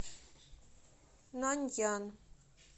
наньян